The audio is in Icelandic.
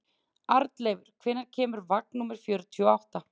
Arnleifur, hvenær kemur vagn númer fjörutíu og átta?